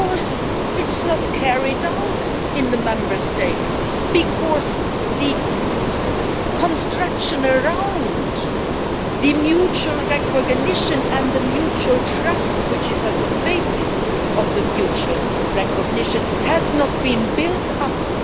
Of course it is not carried out in the Member States because the construction around the mutual recognition and the mutual trust, which is at the basis of the mutual recognition, has not been built up.